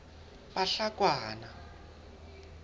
bahlakwana